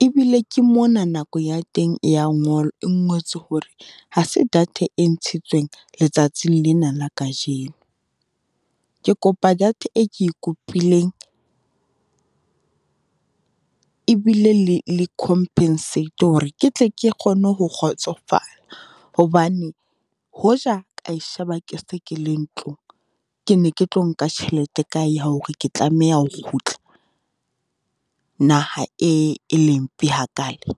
E bile ke mona nako ya teng e ya , e ngotswe hore ha se data e ntshitsweng letsatsing lena la kajeno. Ke kopa data e ke e kopileng, e bile le le compensate hore ke tle ke kgone ho kgotsofala, hobane hoja ka e sheba ke se ke le ntlong, ke ne ke tlo nka tjhelete e kae ya hore ke tlameha ho kgutla, naha e, e le mpe hakale?